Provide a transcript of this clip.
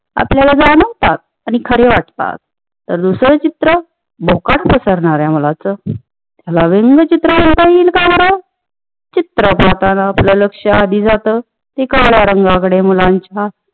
आपल्याला जाणवतात ते खरे वाटतात तर दुसर चित्र भोकाड पसरणा-या मुलाच याला व्यंग चित्र म्हणता येईल का बरं चित्र पाहताना आधी आपल लक्ष जात ते काळ्या रंगाकडे मुलांच्या